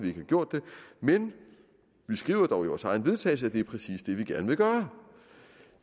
ikke har gjort det men vi skriver dog i vores eget vedtagelse at det er præcis det vi gerne vil gøre